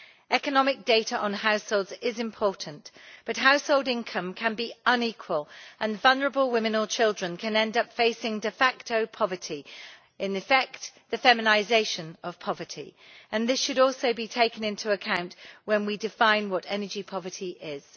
Economic data on households is important, but household income can be unequal and vulnerable women or children can end up facing de facto poverty in effect the feminisation of poverty and this should also be taken into account when we define what energy poverty is.